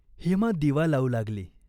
हेमा दिवा लावू लागली.